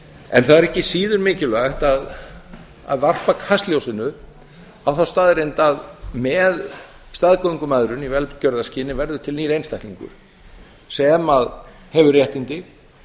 en það er ekki síður mikilvægt að varpa kastljósinu á þá staðreynd að með staðgöngumæðrun í velgjörðarskyni verður til nýr einstaklingur sem hefur réttindi